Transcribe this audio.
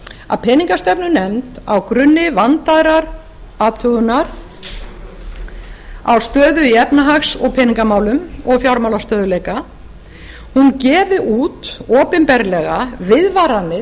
að peningastefnunefnd á grunni vandaðrar athugunar á stöðu í efnahags og peningamálum og fjármálastöðugleika gefi út opinberlega viðvaranir